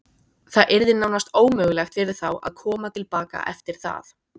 Það yrði nánast ómögulegt fyrir þá að koma til baka eftir það.